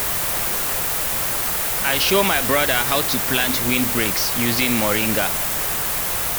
i show my broda how to plant windbreaks using moringa